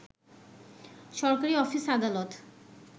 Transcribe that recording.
সরকারি অফিস-আদালত